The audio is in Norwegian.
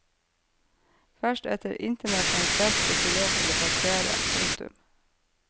Først etter internasjonalt press fikk vi lov til å passere. punktum